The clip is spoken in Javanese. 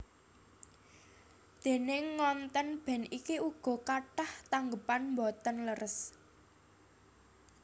Déning ngontèn band iki uga kathah tanggépan boten leres